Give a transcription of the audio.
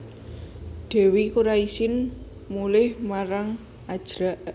Dèwi Kuraisin mulih marang Ajrak